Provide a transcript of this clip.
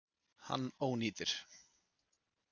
Hann ónýtir.